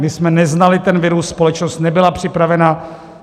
My jsme neznali ten virus, společnost nebyla připravena.